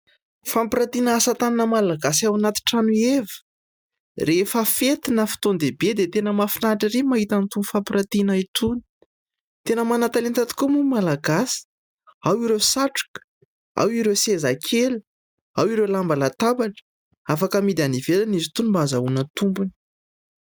Fampirantiana asa tanana malagasy ao anaty trano eva. Rehefa fety na fotoan-dehibe dia tena mahafinaritra ery mahita itony fampirantiana itony. Tena manan-talenta tokoa moa malagasy ao ireo satroka, ao ireo seza kely, ao ireo lamba latabatra ; afaka amidy any ivelany izy itony mba ahazahoana tombony.